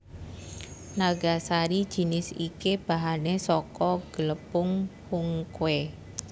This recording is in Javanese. Nagasari jinis iki bahané saka glepung hungkwe